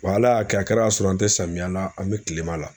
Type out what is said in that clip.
Wala y'a kɛ a kɛra ka sɔrɔ an tɛ samiya la, an bɛ kilema la.